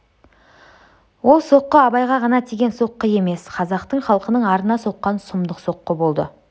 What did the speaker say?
ол соққы абайға ғана тиген соққы емес қазақтың халқының арына соққан сұмдық соққы болды